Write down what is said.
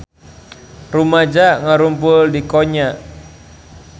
Rumaja ngarumpul di Konya